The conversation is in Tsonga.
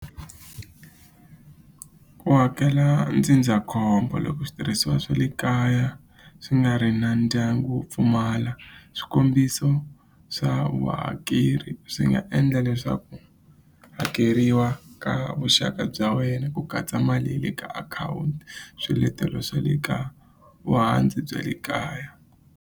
Ku hakela ndzindzakhombo loko switirhisiwa swa le kaya swi nga ri na ndyangu wo pfumala swikombiso swa vuhakeri swi nga endla leswaku hakeriwa ka vuxaka bya wena ku katsa mali ya le ka akhawunti swiletelo swa le ka bya le kaya.